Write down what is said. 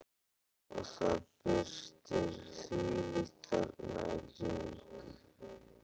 Og það birtir þvílíkt þarna í kring.